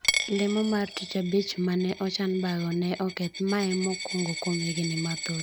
Lemo mar tich abich mane ochan bago ne oketh ,mae e mokuongo kuom higni mathoth.